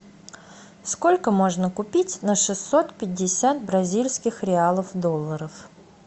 сколько можно купить на шестьсот пятьдесят бразильских реалов долларов